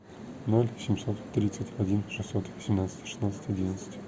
ноль семьсот тридцать один шестьсот семнадцать шестнадцать одиннадцать